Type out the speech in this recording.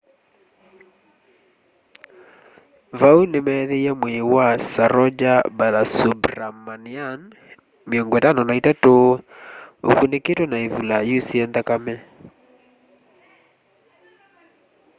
vau nimeethiie mwii wa saroja balasubramanian 53 ukunikitwe na ivula yusie nthakame